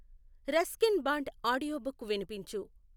Ruskin Bond audiobook వినిపించు